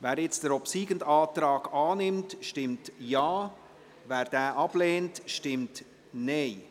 Wer nun den obsiegenden Antrag annimmt, stimmt Ja, wer ihn ablehnt, stimmt Nein.